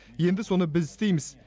енді соны біз істейміз